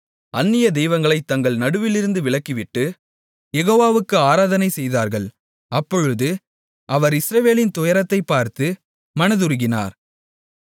அந்நிய தெய்வங்களைத் தங்கள் நடுவிலிருந்து விலக்கிவிட்டு யெகோவாவுக்கு ஆராதனை செய்தார்கள் அப்பொழுது அவர் இஸ்ரவேலின் துயரத்தைப் பார்த்து மனதுருகினார்